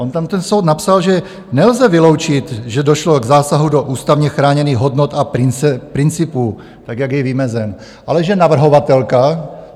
On tam ten soud napsal, že nelze vyloučit, že došlo k zásahu do ústavně chráněných hodnot a principů, tak jak je vymezen, ale že navrhovatelka...